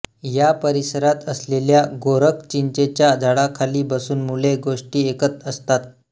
या परिसरात असलेल्या गोरखचिंचेच्या झाडाखाली बसून मुले गोष्टी ऐकत असतात